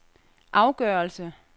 afgørelse